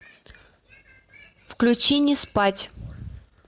включи не спать